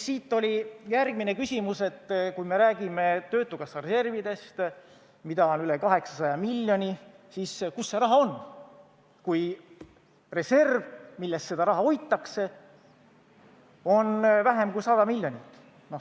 Siit järgmine küsimus: kui me räägime töötukassa reservidest, mida on üle 800 miljoni, siis kus see raha on, kui reservi, milles seda raha hoitakse, on vähem kui 100 miljonit?